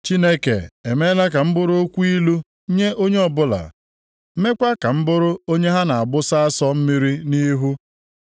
“Chineke emeela ka m bụrụ okwu ilu nye onye ọbụla, meekwa ka m bụrụ onye ha na-agbụsa asọ mmiri nʼihu.